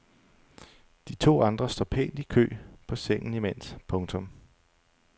De to andre står pænt i kø på sengen imens. punktum